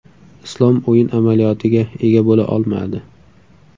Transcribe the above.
Islom o‘yin amaliyotiga ega bo‘la olmadi.